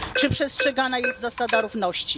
Czy przestrzegana jest zasada równości?